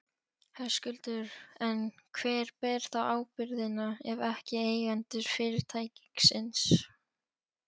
Höskuldur: En hver ber þá ábyrgðina, ef ekki eigendur fyrirtækisins?